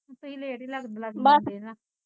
ਤੁਸੀਂ ਲੇਟ ਈ ਲੇਟ ਈ ਲੱਗਦੇ ਹੁੰਦੇ ਨਾ